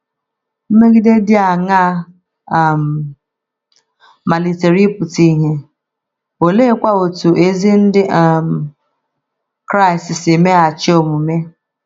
Mmegide dị aṅaa um malitere ịpụta ìhè, oleekwa otú ezi Ndị um Kraịst si meghachi omume?